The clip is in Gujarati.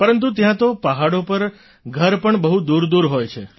પરંતુ ત્યાં તો પહાડો પર ઘર પણ બહુ દૂરદૂર હોય છે